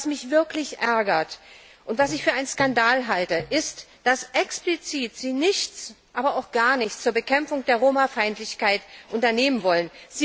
Und was mich wirklich ärgert und was ich für einen Skandal halte, ist, dass Sie explizit nichts, aber auch gar nichts zur Bekämpfung der Roma Feindlichkeit unternehmen wollen.